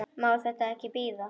Má þetta þá ekki bíða?